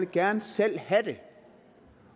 gerne selv have